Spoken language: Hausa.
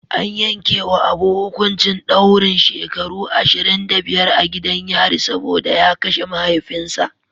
An yankewa Abu hukuncin daurin shekaru ashirin da biyar a gidan yari saboda ya kashe mahaifinsa.